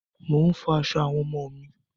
Mò ń fọ aṣọ àwọn ọmọ mi.